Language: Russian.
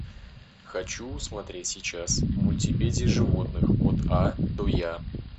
хочу смотреть сейчас мультипедия животных от а до я